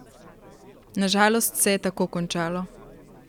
Na žalost se je tako končalo.